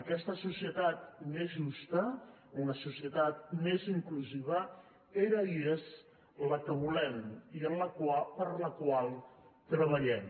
aquesta societat més justa una societat més inclusiva era i és la que volem i per la qual treballem